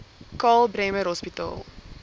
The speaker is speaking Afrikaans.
karl bremer hospitaal